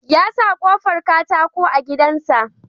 Ya sa kofar katako a gidan sa